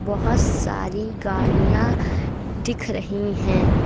बहोत सारी गाड़ियां दिख रही है।